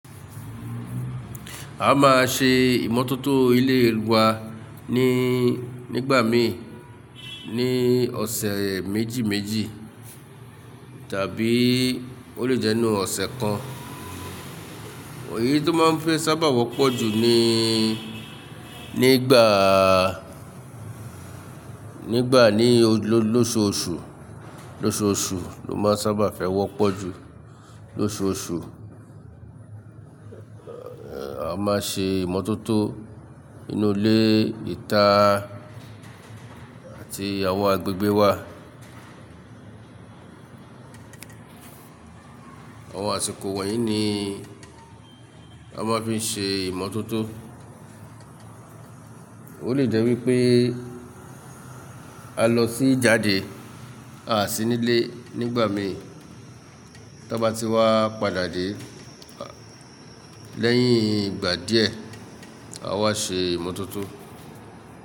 A máa ṣe ìmọ́tótó ilé wa níí, nígbà mí ní ọ̀sẹ̀ méjì méjì tàbí ó lè jẹ́ inú ọ̀sẹ̀ kan. Eyii tó máa ń fẹ́ sábà wọ́pọ̀ jù ni nígbàá, nígbà ní lóṣoọṣù, lóṣoọṣù ló máa ń sábà fẹ́ wọ́pọ̀ jù. Lóṣoọọṣù, a máa ṣe ìmọ́tótó inú ilé ìta àti àwọn agbègbè wa. Àwọn àsìkò woyín ni a máa ń fi ṣe ìmọ́tótó. Ó lè jẹ́ wípé a lọ sí ijáde à sí nilé nígbà mí, tí a bá ti wá padà dé lẹ́yìn ìgbà díẹ̀, a wá ṣe ìmọ́tótó.